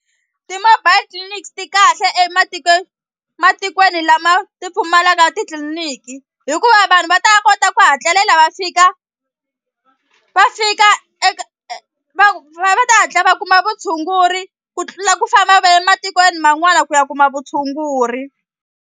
Ti-mobile clinics ti kahle ematikweni matikweni lama ti pfumalaka titliliniki hikuva vanhu va ta kota ku hatlelela va fika va fika va va ta hatla va kuma vutshunguri ku tlula ku famba va ye matikweni man'wana ku ya kuma vutshunguri.